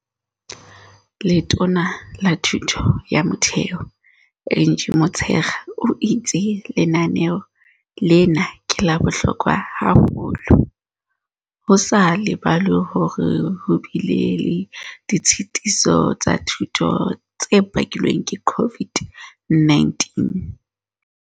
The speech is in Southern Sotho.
Letona la Thuto ya Motheo Angie Motshekga o itse lenaneo lena ke la bohlokwa haholo, ho sa lebalwe hore ho bile le ditshetiso tsa dithuto tse bakilweng ke COVID-19.